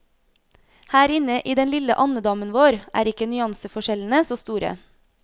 Her inne i den lille andedammen vår er ikke nyanseforskjellene så store.